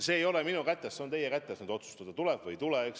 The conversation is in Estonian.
See ei ole minu kätes, see on teie kätes, kas otsustada tuleb või ei tule.